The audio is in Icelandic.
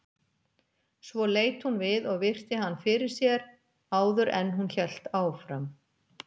Svo leit hún við og virti hann fyrir sér áður en hún hélt áfram.